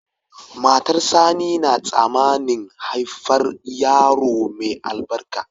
Matar sani na tsamanin haifar yaro mai albarka